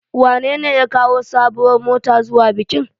Wanene ya kawo sabuwar mota zuwa bikin?